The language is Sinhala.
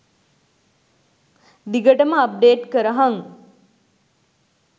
දිගටම අප්ඩේට් කරහං .